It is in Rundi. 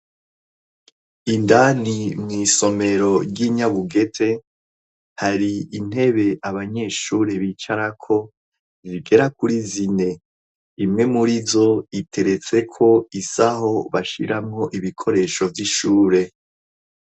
indani mw' isomero ry'inyabugete hari intebe abanyeshuri bicarako bigera kuri zine imwe murizo iteretse ko isaho bashyiramo ibikoresho vy'ishure